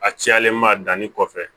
A cilen ma danni kɔfɛ